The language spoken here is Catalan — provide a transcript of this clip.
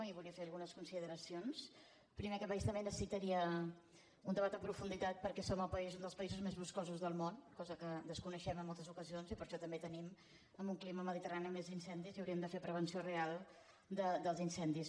i voldria fer algunes consideracions primer aquest país també necessitaria un debat en profunditat perquè som un dels països més boscosos del món cosa que desconeixem en moltes ocasions i per això també tenim en un clima mediterrani més incendis i hauríem de fer prevenció real dels incendis